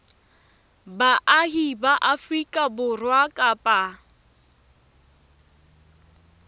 baahi ba afrika borwa kapa